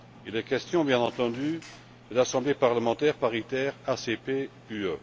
Il est question, bien entendu, de l'Assemblée parlementaire paritaire ACP UE.